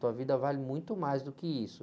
Tua vida vale muito mais do que isso.